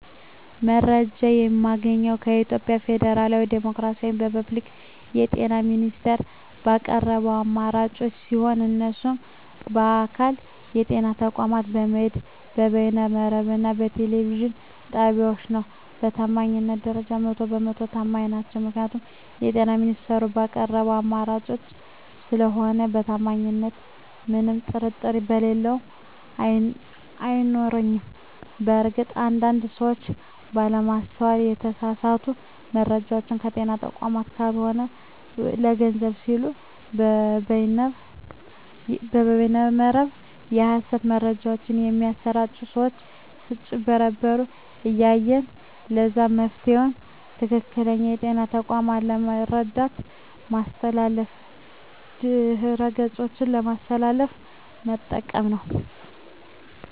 መረጃ የማገኘዉ የኢትዮጵያ ፌደራላዊ ዲሞክራሲያዊ የፐብሊክ የጤና ሚኒስቴር ባቀረባቸዉ አማራጮች ሲሆን እነሱም በአካል (ጤና ተቋማት በመሄድ)፣ በበይነ መረብ እና በቴሌቪዥን ጣቢያወች ነዉ። በታማኝነት ደረጃ 100 በ 100 ተማኝ ናቸዉ ምክንያቱም የጤና ሚኒስቴሩ ባቀረባቸዉ አማራጮች ስለሆነ በታማኝነቱ ምንም ጥርጥር የለኝም አይኖረኝም። በእርግጥ አንድ አንድ ሰወች ባለማስተዋል የተሳሳቱ መረጃወችን ከጤና ተቋማት ካልሆኑ ለገንዘብ ሲሉ በበይነ መረብ የሀሰት መረጃወች በሚያሰራጪ ሰወች ስጭበረበሩ እናያለን ለዛም መፍትሄዉ ትክክለኛዉ የጤና ተቋሙን የመረጃ ማስተላለፊያ ድረገፆች በማስተዋል መጠቀም ነዉ።